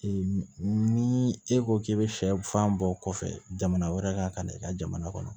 ni e ko k'i bɛ sɛfan bɔ kɔfɛ jamana wɛrɛ ka na i ka jamana kɔnɔ